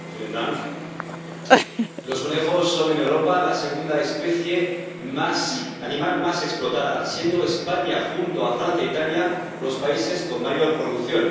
Señor presidente, los conejos son, en Europa, la segunda especie animal más explotada, siendo España, junto con Francia e Italia, los países con mayor producción.